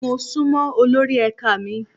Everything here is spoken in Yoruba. Mo sunmọ olórí ẹ̀ka mi.